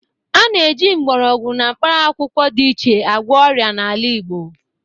A na-eji mgbọrọgwụ na mkparamakwụkwọ dị iche agwọ ọria n'ala Igbo.